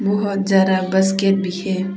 बहोत जा रहा है बस के पीछे--